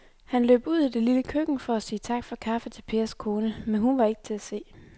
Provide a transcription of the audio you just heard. Han løb ud i det lille køkken for at sige tak for kaffe til Pers kone, men hun var ikke til at se.